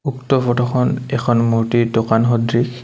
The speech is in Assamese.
উক্ত ফটোখন এখন মূৰ্ত্তিৰ দোকান সদৃশ।